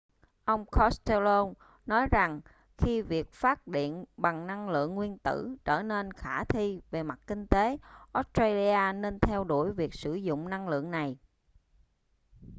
ông costello nói rằng khi việc phát điện bằng năng lượng nguyên tử trở nên khả thi về mặt kinh tế australia nên theo đuổi việc sử dụng năng lượng này